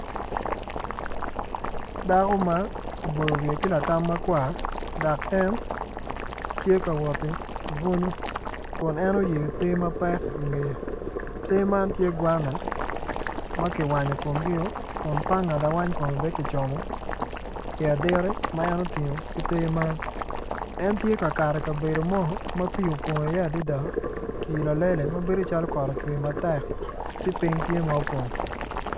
Dako ma oboyo wiye ki latam makwar dok en tye kawot ki bunyu kun en oyeyo te mapek i wiye te man tye gwana ma ki wanyo komgi dok panga lawany kome ben kicomo i aditi ma en otingo ki te man en tye kakato ikabedo mo ma pii opong i iye adada pii lalele mabedo calo kot ocwe matek ci piny tye ma opong